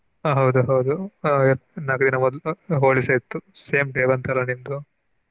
ಹ ಹೌದು ಹೌದು Holi ಸಾ ಇತ್ತು same day .